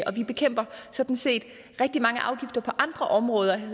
og vi bekæmper sådan set rigtig mange afgifter på andre områder